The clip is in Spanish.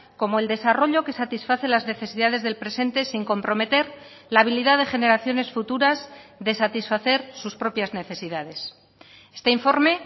como el desarrollo que satisface las necesidades del presente sin comprometer la habilidad de generaciones futuras de satisfacer sus propias necesidades este informe